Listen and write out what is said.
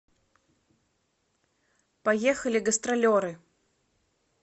поехали гастролеры